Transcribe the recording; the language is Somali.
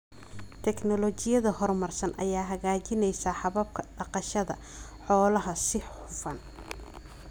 Tignoolajiyada horumarsan ayaa hagaajinaysa hababka dhaqashada xoolaha si hufan.